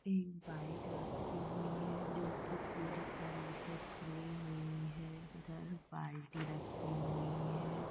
एक बाइक रखी हुई है जोकि पूरी तरह से खुली हुई है | इधर बाल्टी रखी हुई है।